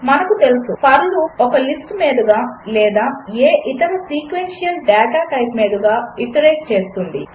మనకు తెలుసు for loop ఒక లిస్టు మీదుగా లేదా ఏ ఇతర సీక్వెన్షియల్ డాటా టైప్ మీదుగా ఐటరేట్ చేస్తుంది